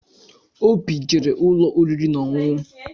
Óbị jere ụlọ oriri na-ọṅụṅụ.